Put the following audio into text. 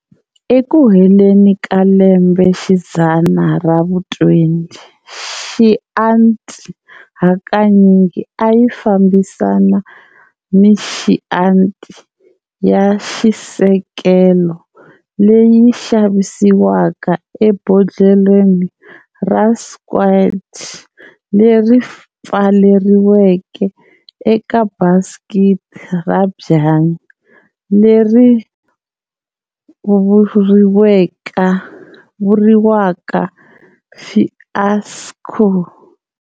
Eku heleni ka lembe xidzana ra vu-20, Chianti hakanyingi a yi fambisana ni Chianti ya xisekelo leyi xavisiwaka ebodlheleni ra squat leri pfaleriweke eka baskiti ra byanyi, leri vuriwaka"fiasco".